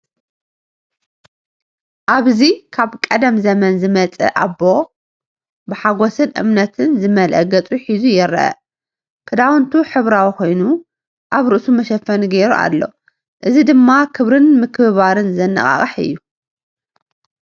ኣብዚ ካብ ቀደም ዘመን ዝመጸ ኣቦ ብሓጎስን እምነትን ዝመልአ ገጽ ሒዙ ይርአ። ክዳውንቱ ሕብራዊ ኮይኑ ኣብ ርእሱ መሸፈኒ ገይሩ ኣሎ። እዚ ድማ ክብርን ምክብባርን ዘነቓቕሕ እዩ።